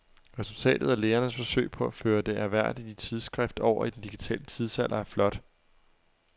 Resultatet af lægernes forsøg på at føre det ærværdige tidsskrift over i den digitale tidsalder er flot.